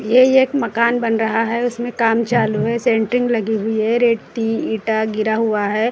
ये एक मकान बन रहा है उसमें काम चालू है शटरिंग लगी हुई है रेती ईंटा गिरा हुआ है।